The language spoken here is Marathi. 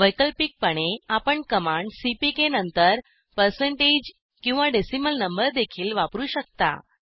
वैकल्पिकपणे आपण कमांड सीपीके नंतर पर्सेंटेज किंवा डेसिमल नंबरदेखील वापरू शकता